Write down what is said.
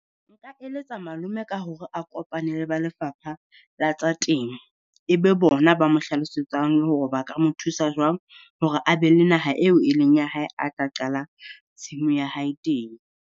Nka eletsa malome ka hore a kopane le ba Lefapha la tsa Temo, E be bona ba mo hlalosetsang le hore ba ka mo thusa jwang hore a be le naha eo e leng ya hae, a ka qala tshimo ya hae teng.